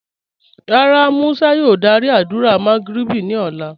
Rárá, Musa yòò dàrí àdúrà Magrib ni ọ̀lá